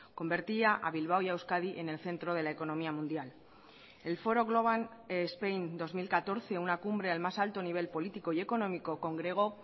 convertía a bilbao y a euskadi en el centro de la economía mundial el foro global spain dos mil catorce una cumbre al más alto nivel político y económico congregó